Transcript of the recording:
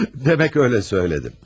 Demək elə söylədim.